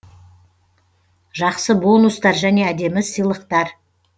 жақсы бонустар және әдемі сыйлықтар